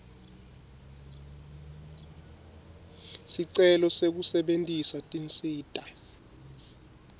sicelo sekusebentisa tinsita